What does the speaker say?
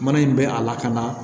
Mana in bɛ a lakana